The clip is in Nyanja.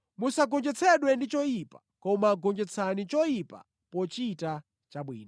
Musagonjetsedwe ndi choyipa, koma gonjetsani choyipa pochita chabwino.